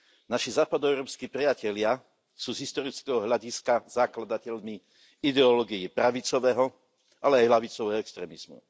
Naši západoeurópski priatelia sú z historického hľadiska zakladateľmi ideológií pravicového, ale aj ľavicového extrémizmu.